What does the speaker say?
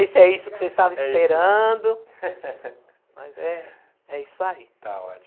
Não sei se é isso que vocês estavam esperando, mas é é isso aí. Está